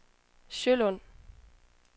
Sjølund